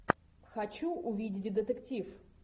хочу увидеть детектив